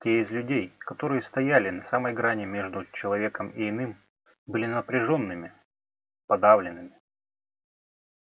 те из людей которые стояли на самой грани между человеком и иным были напряжёнными подавленными